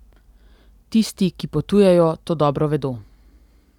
Tisti, ki potujejo, to dobro vedo.